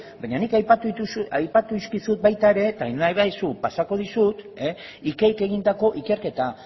baina nik aipatu dizkizut baita ere eta nahi baldin baduzu pasatuko dizut ikeik egindako ikerketa